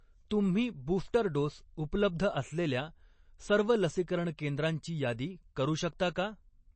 तुम्ही booster dose उपलब्ध असलेल्या सर्व लसीकरण केंद्रांची यादी करू शकता का?